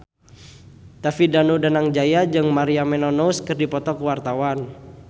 David Danu Danangjaya jeung Maria Menounos keur dipoto ku wartawan